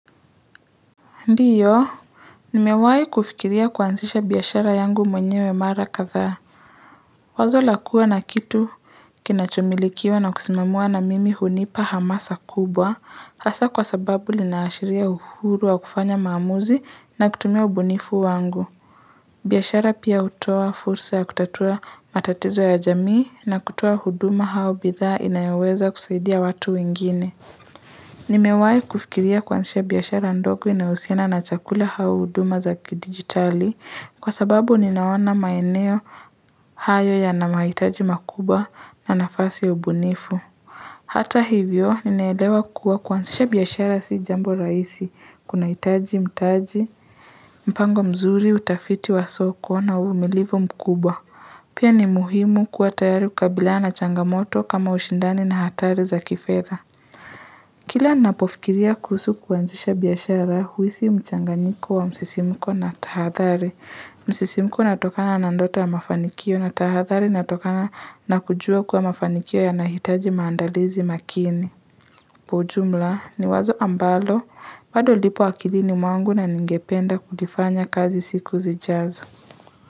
Ndiyo nimewahi kufikiria kuanzisha biashara yangu mwenyewe mara kadhaa wazo la kuwa na kitu kinachomilikiwa na kusimamiwa na mimi hunipa hamasa kubwa hasa kwa sababu linaashiria uhuru wa kufanya maamuzi na kutumia ubunifu wangu biashara pia hutoa fursa ya kutatua matatizo ya jamii na kutoa huduma hao bidhaa inayoweza kusaidia watu wengine Nimewahi kufikiria kuanzisha biashara ndogo inayohusiana na chakula au huduma za kidijitali kwa sababu ninaona maeneo hayo yana mahitaji makubwa na nafasi ya ubunifu. Hata hivyo, ninaelewa kuwa kuanzisha biashara si jambo rahisi, kunahitaji, mtaji, mpango mzuri, utafiti wa soko na uvumilivu mkubwa. Pia ni muhimu kuwa tayari kabiliana na changamoto kama ushindani na hatari za kifedha. Kila napofikiria kuhusu kuanzisha biashara huhisi mchanganyiko wa msisimuko na tahadhari. Msisimuko inatokana na ndoto ya mafanikio na tahadhari inatokana na kujua kuwa mafanikio yanahitaji maandalizi makini. Kwa ujumla ni wazo ambalo, bado lipo akilini mwangu na ningependa kulifanya kazi siku zijazo.